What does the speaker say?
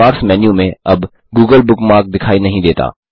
bookmarks menu में अब Google bookmark दिखाई नहीं देता